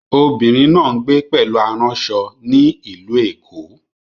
Obìnrin náà ń gbé pẹ̀lú aránṣọ ní Ìlú Èkó